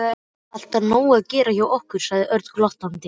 Alltaf nóg að gera hjá ykkur sagði Örn glottandi.